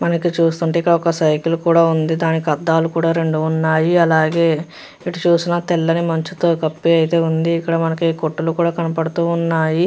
ఇక్కడ చూస్తుంటే ఒక సైకిల్ కూడా ఉంది . దానికి రెండు అద్దాలు కూడా ఉన్నాయి . అలాగే ఎటు చూసినా తెల్లటి మనసుతో కత్తి మంచుతో కప్పి అయితే ఉంది. కనబడుతూ ఉన్నాయి.